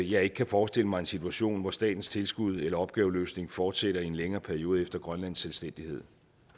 jeg ikke kan forestille mig en situation hvor statens tilskud eller opgaveløsning fortsætter i en længere periode efter grønlands selvstændighed